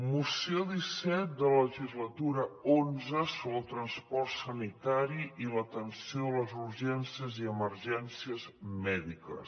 moció disset de la legislatura xi sobre el transport sanitari i l’atenció de les urgències i emergències mèdiques